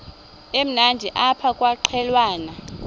emnandi apha kwaqhelwana